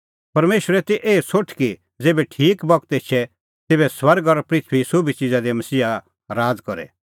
परमेशरे ती एही सोठ कि ज़ेभै ठीक बगत एछे तेभै स्वर्ग और पृथूईए सोभी च़िज़ा दी मसीहा राज़ करे